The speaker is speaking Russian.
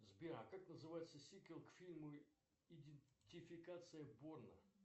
сбер а как называется сиквел к фильму идентификация борна